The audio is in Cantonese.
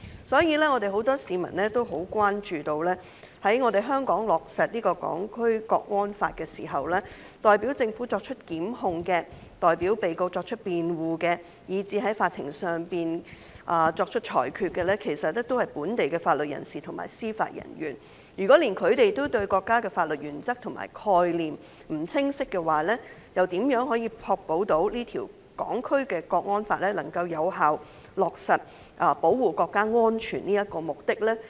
所以，很多市民關注到，在香港落實《港區國安法》後，代表政府作出檢控、代表被告作出辯護，以至在法庭上作出裁決的，是本地的法律人士及司法人員。如果連本地某些法律人士也對國家的法律原則和概念不清晰，又怎確保《港區國安法》能夠有效落實保護國家安全的目的？